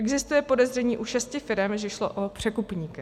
Existuje podezření u šesti firem, že šlo o překupníky.